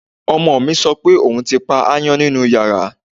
Ọmọ mi sọ pé òun ti pa aáyán nínú yàrá